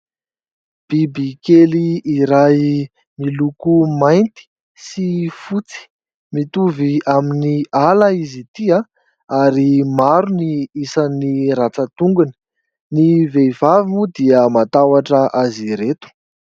Biby kely iray miloko mainty sy fotsy, mitovy amin'ny hala izy ity, ary maro ny isan'ny rantsan-tongony. Ny vehivavy moa dia matahotra azy ireto.